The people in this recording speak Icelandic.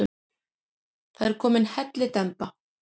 Það er komin hellidemba.